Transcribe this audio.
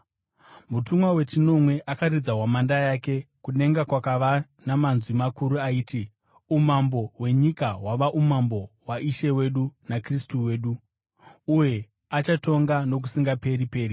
Mutumwa wechinomwe akaridza hwamanda yake, kudenga kukava namanzwi makuru aiti: “Umambo hwenyika hwava umambo waIshe wedu naKristu wake, uye achatonga nokusingaperi-peri.”